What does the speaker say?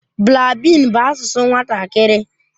Blaabin bụ asụsụ nwatakịrị.